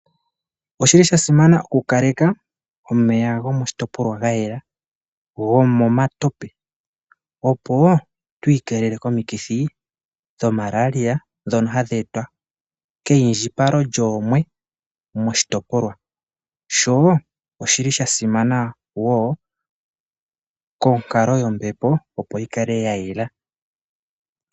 Oshi li sha simana oku kaleka omeya gomoshitopolwa ga yela ngaashi omeya gomomatope, opo tu ikeelele komithi ngaashi Malaria ngono hagu etwa ke indjipalo lyoomwe moshitopolwa, sho oshi li sha simana wo konkalo yombepo opo yi kale ya yela.